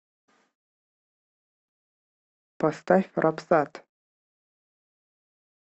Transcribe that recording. поставь рапсат